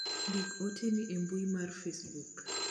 ndik oteni e mbui mar facebook